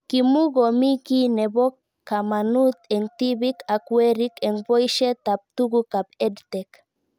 Kimukomii kiy nepo kamanut eng' tipik ak werik eng' poishet ab tuguk ab EdTech